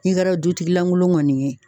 N'i kɛra dutigi lankolon kɔni ye